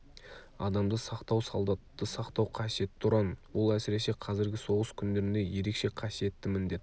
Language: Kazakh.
адамды сақтау солдатты сақтау қасиетті ұран ол әсіресе қазіргі соғыс күндерінде ерекше қасиетті міндет